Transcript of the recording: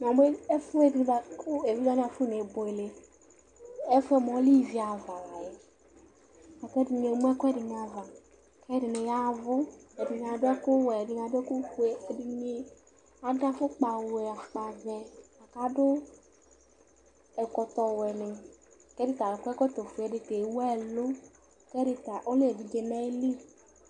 Na mu ɛfuɛɖi buaku evidze waní afu ne buele Ɛfu yɛ mua, ɔlɛ iʋi aʋa la yɛ Laku ɛɖini emu ɛkuɛɖini aʋa, ku ɛɖini yaʋu Ɛɖini aɖu ɛku wɛ, ɛɖini aɖu ɛku fue Ɛɖini aɖu afukpa wɛ, afukpa ʋɛ Aɖu ɛkɔtɔ ʋɛ ni Ku ɛɖi ta akɔ ɛkɔtɔ fue Ɛdi ta ewu ɛlu Ku ɛdi ta ɔlɛ evidze nu ayili